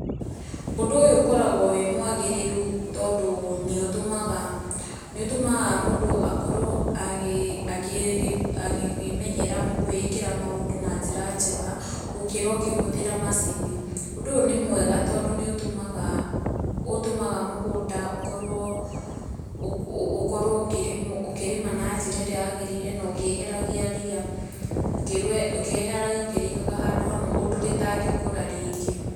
Ũndũ ũyũ ũkoragwo wĩ mwagĩrĩru tondũ nĩũtũmaga, nĩũtũmaga mũndũ akorwo agĩ akĩmenyera kwĩĩkĩra maũndũ na njĩra njega, gũkĩra ũkĩhũthĩra macini, ũndũ ũyũ nĩ mwega tondũ nĩ ũtũmaga mũgũnda ũkorwo na ũkorwo ũkĩrĩma na njĩra ĩrĩa yagĩrĩire na ũkĩeheragia ria, ũkĩeheragia ũkĩrĩigaga handũ hamwe ũndũ rĩtangĩkũra rĩngĩ.